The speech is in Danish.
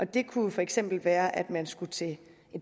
det kunne for eksempel være at man skulle til et